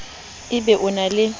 e be o na le